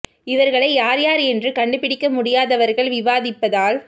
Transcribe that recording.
இவர்களை யார் யார் என்று கண்டு பிடிக்க முடியாதவ்ர்கள் விவாதிப்பதால்